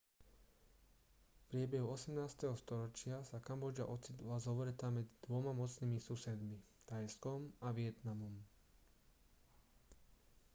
v priebehu 18. storočia sa kambodža ocitla zovretá medzi dvoma mocnými susedmi thajskom a vietnamom